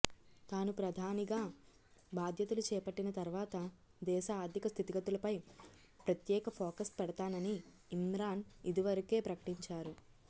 తాను ప్రధానిగా బాధ్యతలు చేపట్టిన తర్వాత దేశ ఆర్థిక స్థితిగతులపై ప్రత్యేక ఫోకస్ పెడుతానని ఇమ్రాన్ ఇదివరకే ప్రకటించారు